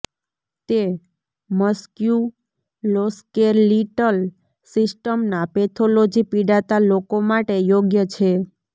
તે મસ્ક્યુલોસ્કેલિટલ સિસ્ટમના પેથોલોજી પિડાતા લોકો માટે યોગ્ય છે